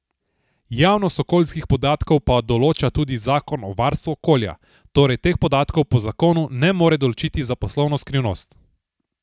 Javnost okoljskih podatkov pa določa tudi zakon o varstvu okolja, torej teh podatkov po zakonu ne more določiti za poslovno skrivnost.